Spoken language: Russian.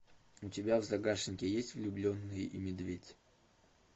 у тебя в загашнике есть влюбленные и медведь